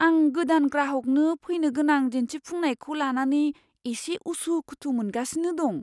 आं गोदान ग्राहकनो फैनोगोनां दिन्थिफुंनायखौ लानानै एसे उसुखुथु मोनगासिनो दं।